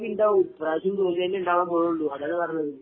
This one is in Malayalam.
തോൽവിയുണ്ടാകും ഈ പ്രാവശ്യവും തോൽവി തന്നെയാ ഉണ്ടാകാൻ പൊന്നുള്ളൂ